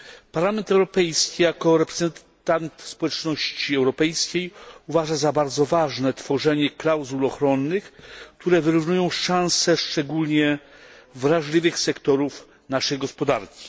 Parlament Europejski, jako reprezentant społeczności europejskiej, uważa za bardzo ważne tworzenie klauzul ochronnych, które wyrównują szanse szczególnie wrażliwych sektorów naszej gospodarki.